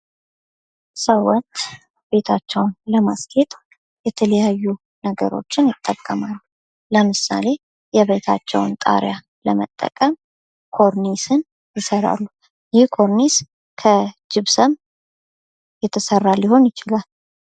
ሰዎች ቤታቸውን ለማስጌጥ የተለያዩ ነገሮችን ይጠቀማሉ። ለምሳሌ የቤታቸውን ጣሪያ ለመጠቀም ኮርኒስን ይሰራሉ። ይህ ኮርኒስ ከጅብሰም የተሰራ ሊሆን ይችላል።